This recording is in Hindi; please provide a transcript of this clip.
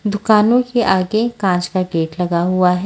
दुकानों के आगे कांच का गेट लगा हुआ है।